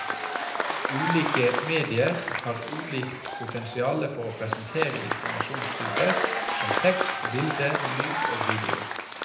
Ulike medier har ulikt potensiale for å presentere informasjonstyper som tekst, bilder, lyd og video.